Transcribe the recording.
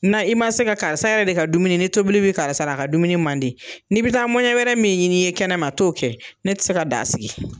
Na i ma se ka karisa yɛrɛ de ka dumuni ni tobili bi karisa la a ka dumuni mandi ni bi taa mɔnɲɛ wɛrɛ min ɲini ye kɛnɛ ma to kɛ ne ti se ka da sigi